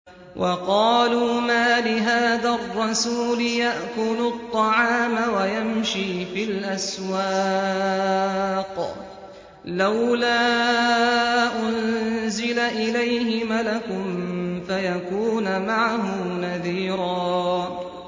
وَقَالُوا مَالِ هَٰذَا الرَّسُولِ يَأْكُلُ الطَّعَامَ وَيَمْشِي فِي الْأَسْوَاقِ ۙ لَوْلَا أُنزِلَ إِلَيْهِ مَلَكٌ فَيَكُونَ مَعَهُ نَذِيرًا